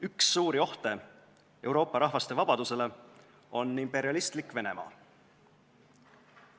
Üks suuri ohte Euroopa rahvaste vabadusele on imperialistlik Venemaa.